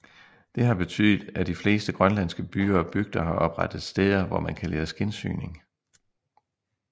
Det var betydet at de fleste grønlandske byer og bygder har oprettet steder hvor man kan lære skindsyning